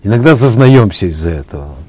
иногда зазнаемся из за этого